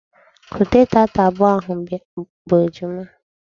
Kute taata abụọ ahụ bụ ejima!